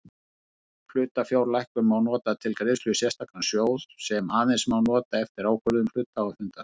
Hlutafjárlækkun má nota til greiðslu í sérstakan sjóð sem aðeins má nota eftir ákvörðun hluthafafundar.